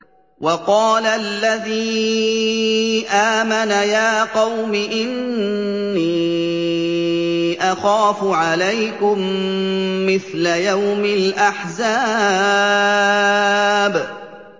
وَقَالَ الَّذِي آمَنَ يَا قَوْمِ إِنِّي أَخَافُ عَلَيْكُم مِّثْلَ يَوْمِ الْأَحْزَابِ